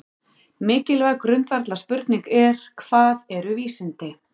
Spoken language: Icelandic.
Mikilvæg grundvallarspurning er: Hvað eru vísindi?